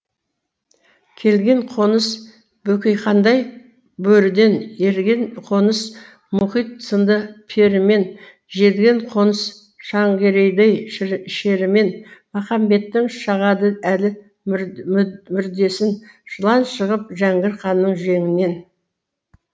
келген қоныс бөкейхандай бөріден ерген қоныс мұхит сынды перімен желген қоныс шәңгерейдей шерімен махамбеттің шағады әлі мүрдесін жылан шығып жәңгір ханның жеңінен